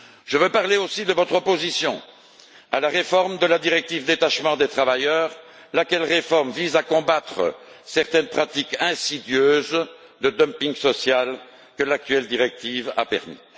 Je veux parler aussi de votre opposition à la réforme de la directive relative au détachement des travailleurs, laquelle réforme vise à combattre certaines pratiques insidieuses de dumping social que l'actuelle directive a permises.